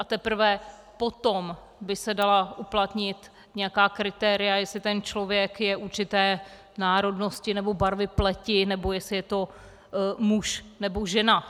A teprve potom by se dala uplatnit nějaká kritéria, jestli ten člověk je určité národnosti nebo barvy pleti nebo jestli je to muž nebo žena.